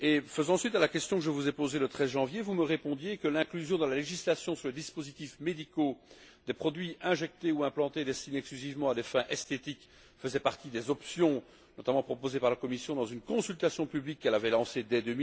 Faisant suite à la question que je vous ai posée le 13 janvier, vous me répondiez que l'inclusion dans la législation sur les dispositifs médicaux des produits injectés ou implantés destinés exclusivement à des fins esthétiques faisait partie des options notamment proposées par la Commission dans une consultation publique qu'elle avait lancée dès